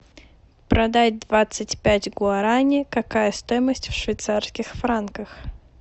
продать двадцать пять гуарани какая стоимость в швейцарских франках